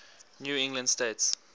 new england states